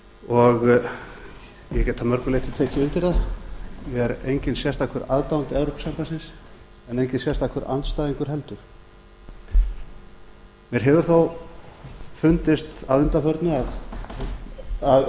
og ég get að mörgu leyti tekið undir það ég er enginn sérstakur aðdáandi evrópusambandsins en enginn sérstakur andstæðingur heldur mér hefur þó fundist að undanförnu að